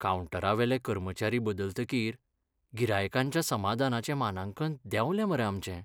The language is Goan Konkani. कावंटरावेले कर्मचारी बदलतकीर गिरायकांच्या समादानाचें मानांकन देंवलें मरे आमचें.